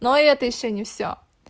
но это ещё не всё